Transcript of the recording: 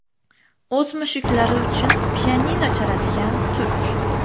O‘z mushuklari uchun pianino chaladigan turk.